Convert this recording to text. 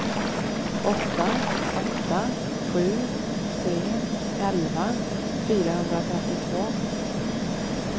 åtta åtta sju tre elva fyrahundratrettiotvå